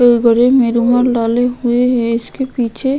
में रूमाल डाले हुए है इसके पीछे --